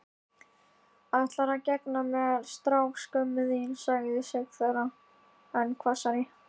Ætlarðu að gegna mér, strákskömmin þín? sagði Sigþóra enn hvassari.